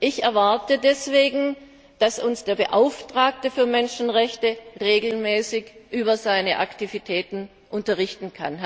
Ich erwarte deswegen, dass uns der Beauftragte für Menschenrechte regelmäßig über seine Aktivitäten unterrichtet.